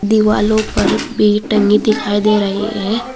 दिवालों पर भी टंगी दिखाई दे रही है।